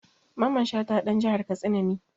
Mamman Shata ɗan jihar Katsina ne.